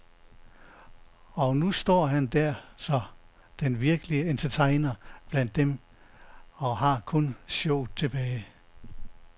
Og nu står han der så, den virkelige entertainer blandt dem, og har kun showet tilbage.